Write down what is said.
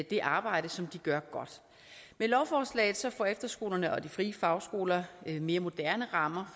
det arbejde som de gør godt med lovforslaget får efterskolerne og de frie fagskoler mere moderne rammer